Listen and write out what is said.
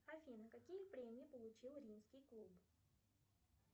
афина какие премии получил римский клуб